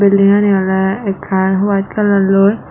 beldingani ole ekkan white kalarloi.